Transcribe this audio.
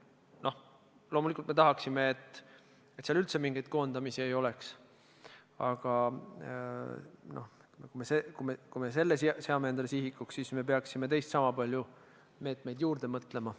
Loomulikult me tahaksime, et seal üldse mingeid koondamisi ei oleks, aga kui me selle seaksime omale sihiks, siis me peaksime teist sama palju meetmeid juurde mõtlema.